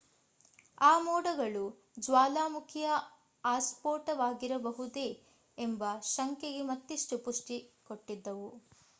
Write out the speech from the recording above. ಆ ಮೋಡಗಳು ಜ್ವಾಲಾಮುಖಿಯ ಆಸ್ಪೋಟವಾಗಿರಬಹುದೇ ಎಂಬ ಶಂಕೆಗೆ ಮತ್ತಿಷ್ಟು ಪುಷ್ಟಿ ಕೊಟ್ಟಿದ್ದವು